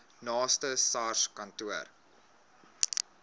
naaste sars kantoor